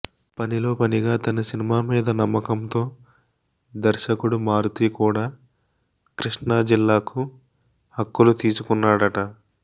పనిలో పనిగా తన సినిమా మీద నమ్మకంతో దర్శకుడు మారుతి కూడా కృష్ణా జిల్లాకు హక్కులు తీసుకున్నాడట